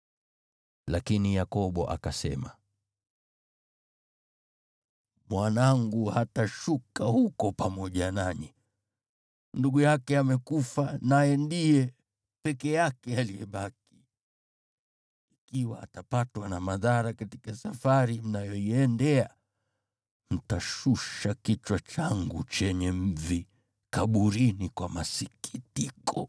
Lakini Yakobo akasema, “Mwanangu hatashuka huko pamoja nanyi; ndugu yake amekufa naye ndiye peke yake aliyebaki. Ikiwa atapatwa na madhara katika safari mnayoiendea, mtashusha kichwa changu chenye mvi kaburini kwa masikitiko.”